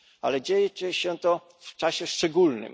Ale dzieje się to w czasie szczególnym.